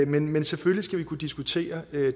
men men selvfølgelig skal vi kunne diskutere